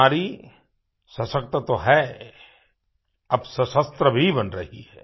नारी सशक्त तो है अब सशस्त्र भी बन रही है